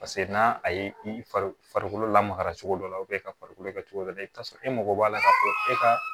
Paseke n'a a ye i farikolo lamaga cogo dɔ la ka farikolo kɛ cogo dɔ la i bɛ t'a sɔrɔ e mago b'a la ka fɔ e ka